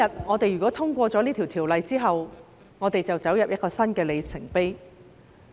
我們今天通過《條例草案》之後，便進入一個新的里程碑。